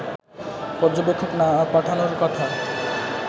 পর্যবেক্ষক না পাঠানোর কথা